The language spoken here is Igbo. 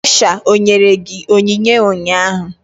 Ọsha enyere gị onyinye ụnyaahụ?